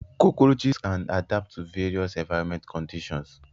cockroaches can adapt to various environmental conditions.